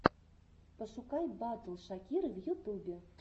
пошукай батл шакиры в ютюбе